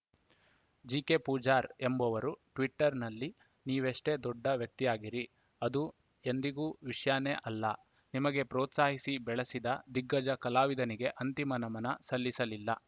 G K Pujar ಎಂಬುವರು ಟ್ವೀಟರ್‌ನಲ್ಲಿ ನೀವೆಷ್ಟೇ ದೊಡ್ಡ ವ್ಯಕ್ತಿಯಾಗಿರಿ ಅದು ಎಂದಿಗೂ ವಿಷ್ಯಾನೇ ಅಲ್ಲ ನಿಮಗೆ ಪ್ರೋತ್ಸಾಹಿಸಿ ಬೆಳೆಸಿದ ದಿಗ್ಗಜ ಕಲಾವಿದನಿಗೆ ಅಂತಿಮ ನಮನ ಸಲ್ಲಿಸಲಿಲ್ಲ